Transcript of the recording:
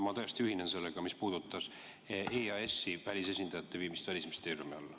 Ma täiesti ühinen sellega, mis puudutas EAS-i välisesindajate viimist Välisministeeriumi alla.